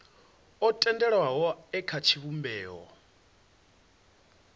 o tendelwaho e kha tshivhumbeo